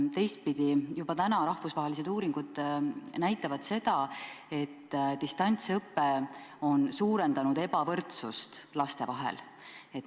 Teistpidi juba praegu rahvusvahelised uuringud näitavad seda, et distantsõpe on suurendanud ebavõrdsust laste vahel.